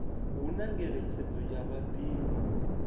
hu na ngeletshedzo ya vhadivhi